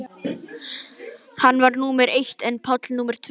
Hann var númer eitt en Páll númer tvö.